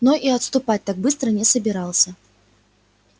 но и отступать так быстро не собирался